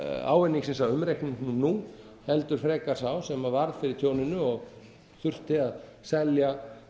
ávinningsins af umreikningnum nú heldur frekar sá sem varð fyrir tjóninu og þurfti að selja